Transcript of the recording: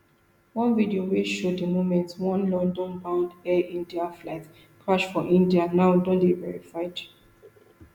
one video wey show di moment one londonbound air india flight crash for india now don dey verified